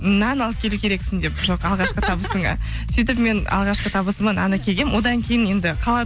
нан алып келу керексің деп жоқ алғашқы табысыңа сөйтіп мен алғашқы табысыма нан әкелгенмін одан кейін енді